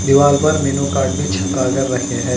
दीवाल पर menu card भी चिपका कर रखे हैं।